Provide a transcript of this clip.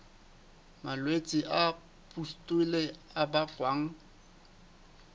malwetse a pustule a bakwang